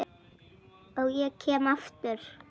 Og ég kem aftur.